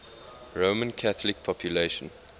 roman catholic population